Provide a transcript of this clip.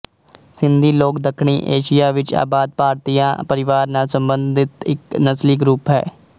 ਸਿੰਧੀ ਲੋਕ ਦੱਖਣੀ ਏਸ਼ੀਆ ਵਿੱਚ ਆਬਾਦ ਭਾਰਤਆਰੀਆ ਪਰਿਵਾਰ ਨਾਲ ਸਬੰਧਤ ਇੱਕ ਨਸਲੀ ਗਰੁੱਪ ਹੈ